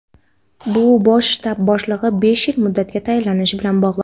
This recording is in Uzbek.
bu Bosh shtab boshlig‘i besh yil muddatga tayinlanishi bilan bog‘liq.